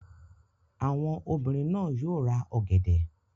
Àwọn obìnrin náà yóò ra ọ̀gẹ̀dẹ̀.